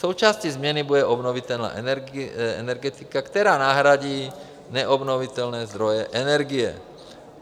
Součástí změny bude obnovitelná energetika, která nahradí neobnovitelné zdroje energie.